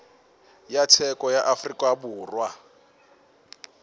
ya tsheko ya afrika borwa